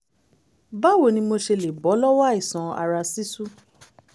báwo ni mo ṣe lè bọ́ lọ́wọ́ àìsàn ara ṣísú?